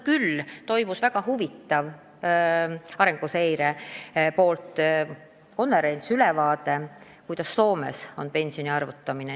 Aga meil toimus väga huvitav Arenguseire Keskuse korraldatud konverents, kus anti ka ülevaade, kuidas Soomes pensioni arvutatakse.